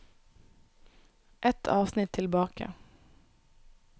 Ett avsnitt tilbake